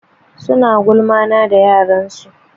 Suna gulma na da yaren su.